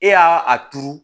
E y'a a turu